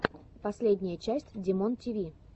последняя часть димонтиви